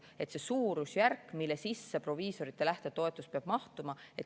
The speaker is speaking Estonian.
See on see suurusjärk, mille sisse proviisorite lähtetoetus peab mahtuma.